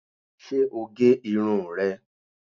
Ṣé o gé irun rẹ̀